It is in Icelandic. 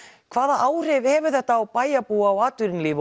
hvaða áhrif hefur þetta á bæjarbúa og atvinnulíf